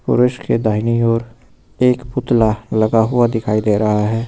पुरुष के दाहिनी ओर एक पुतला लगा हुआ दिखाई दे रहा है।